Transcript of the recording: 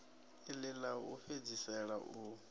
iḽi ḽa u fhedzisela u